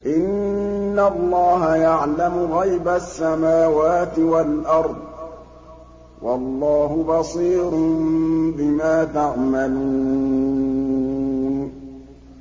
إِنَّ اللَّهَ يَعْلَمُ غَيْبَ السَّمَاوَاتِ وَالْأَرْضِ ۚ وَاللَّهُ بَصِيرٌ بِمَا تَعْمَلُونَ